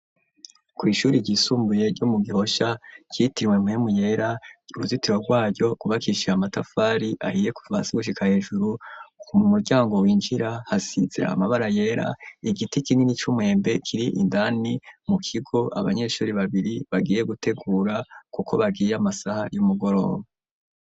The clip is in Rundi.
kw’ishuri ryisumbuye ryo mu gihoshya cyitirwe muhemu yera uruzitiro rwayo kubakishira amatafari ahiye kuvasgushika hejuru ku muryango winjira hasize amabara yera igiti kinini cy'umuhembe kiri indani mu kigo abanyeshuri babiri bagiye gutegura kuko bagiye amasaha y'umugoroba.